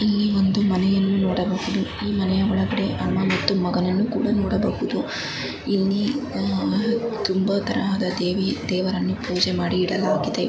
ಇಲ್ಲಿ ಒಂದು ಮನೆಯನ್ನು ನೋಡಬಹುದು. ಈ ಮನೆಯ ಒಳಗಡೆ ಅಮ್ಮ ಮತ್ತು ಮಗನನ್ನು ಕೂಡ ನೋಡಬಹುದು. ಇಲ್ಲಿ ತುಂಬಾ ತರಹದ ದೇವಿ ದೇವರನ್ನು ಪೂಜೆ ಮಾಡಿ ಇಡಲಾಗಿದೆ.